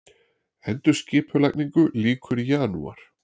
Endurskipulagningu lýkur í janúar